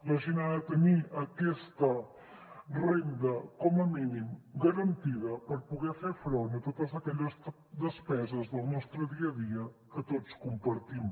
la gent ha de tenir aquesta renda com a mínim garantida per poder fer front a totes aquelles despeses del nostre dia a dia que tots compartim